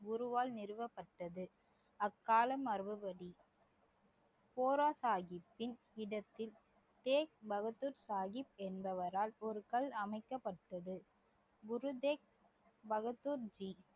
குருவால் நிறுவப்பட்டது அக்கால மரபுப்படி கோராசாஹிப்த்தின் இடத்தில் தேக் பகதூர் சாஹிப் என்பவரால் ஒரு கல் அமைக்கப்பட்டது குரு தேக் பகதூர்ஜி